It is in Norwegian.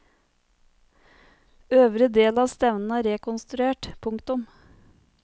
Øvre del av stevnen er rekonstruert. punktum